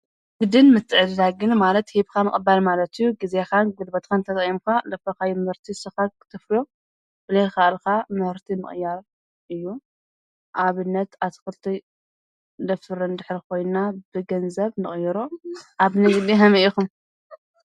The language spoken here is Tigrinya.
ንግድን ምትዕድዳግን ማለት ሂብኻ ምቕባል ማለት እዩ። ግዜኻን ጉልበትኻን ተጠቒምካ ዘፍረኻዮ ምህርቲ ንስኻ ክተፍርዮ ብለይካኣልካ ምህርቲ ምቕያር እዩ። ኣብነት ኣትኽልቲ ነፍሪ እንድሕር ኮይና ብገንዘብ ንቕይሮ። ኣብ ንግዲ ሀመይ ኢኹም?